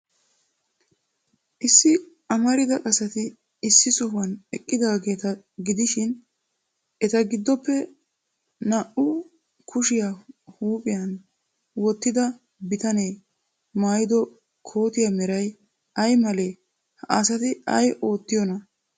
Issi amarida asati Issi sohuwan eqqidaageeta gidishin, eta giddoppe naa''u kushiyaa huuphiyan wottida bitanee maayido kootiyaa meray ay malee? Ha asati ay oottiyoonaa?